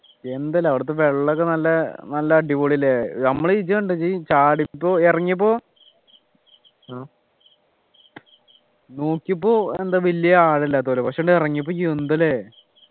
എന്താല്ലേ അവിടെത്തെ വെള്ളമൊക്കെ നല്ല നല്ല അടിപൊളിയല്ലേ നമ്മള് ജ്ജ് കണ്ടോ ജ്ജ് ചാടിപ്പോ ഇറങ്ങിയപ്പോ നോക്കിയപ്പോ എന്താ വല്യ ആഴമില്ലാത്ത പോലെ പക്ഷെ ഇറങ്ങിയപ്പോ എന്താ ല്ലേ